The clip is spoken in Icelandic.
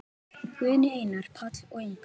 Guðný, Einar, Páll og Ingunn.